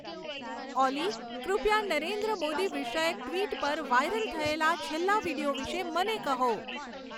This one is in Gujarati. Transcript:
ઓલી કૃપયા નરેન્દ્ મોદી વિષયક ટ્વિટર પર વાઈરલ થયેલા છેલ્લા વિડીયો વિષે મને કહો